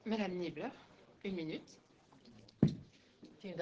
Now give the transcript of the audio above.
Frau Präsidentin, Herr Vizepräsident, liebe Kolleginnen, liebe Kollegen!